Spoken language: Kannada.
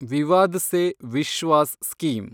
ವಿವಾದ್ ಸೆ ವಿಶ್ವಾಸ್ ಸ್ಕೀಮ್